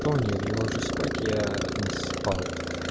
то нет я ложусь спать я не спал